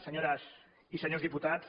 senyores i senyors diputats